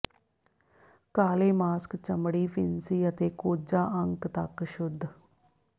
ਕਾਲੇ ਮਾਸਕ ਚਮੜੀ ਫਿਣਸੀ ਅਤੇ ਕੋਝਾ ਅੰਕ ਤੱਕ ਸ਼ੁੱਧ